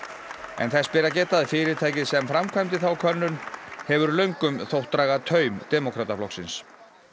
en þess ber að geta að fyrirtækið sem framkvæmdi þá könnun hefur löngum þótt draga taum demókrataflokksins